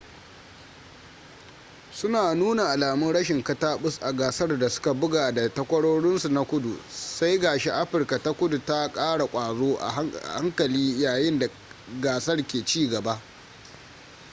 suna nuna alamun rashin kataɓus a gasar da suka buga da takwarorinsu na kudu sai ga shi afirka ta kudu ta ƙara ƙwazo a hankali yayin da gasar ke cigaba